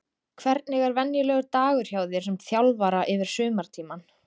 Hvernig er venjulegur dagur hjá þér sem þjálfara yfir sumartímann?